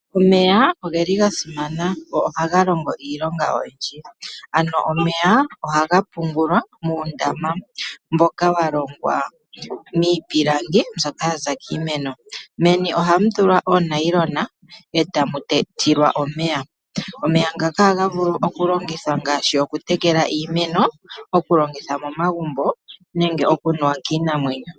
Omeya oga simana go ohaga longo iilonga oyindji. Omeya ohaga pungulwa muundama mboka wa longwa miipilangi mbyoka ya za kiimeno. Meni ohamu tulwa uunayilona e tamu tilwa omeya. Omeya ngaka ohaga vulu okulongithwa ngaashi okutekela iimeno, okulongitha momagumbo nenge okunuwa kiinamwenyo.